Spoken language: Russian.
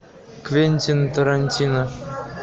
квентин тарантино